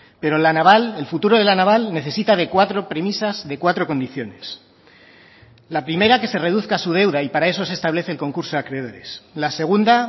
pero la naval el futuro de la naval necesita de cuatro premisas de cuatro condiciones la primera que se reduzca su deuda y para eso se establece el concurso de acreedores la segunda